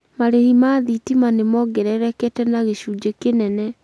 marĩhi ma thitima nĩmoongererekete na gĩcũnjĩ kĩnene